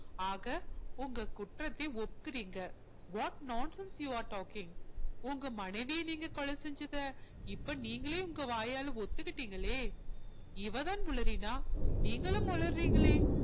ஆக உங்க குற்றத்தை ஒத்துக்குறீங்க what nonsense you are talking உங்க மனைவியை நீங்க கொலை செஞ்சதை இப்ப நீங்களே உங்க வாயால ஒத்துக்கிட்டீங்களே இவ தான் உளறினா நீங்களும் உளறுறீங்களே